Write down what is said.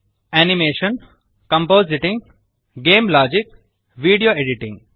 animation compositing game logic video editing